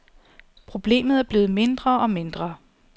Problemet er blevet mindre og mindre.